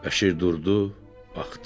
Bəşir durdu, baxdı.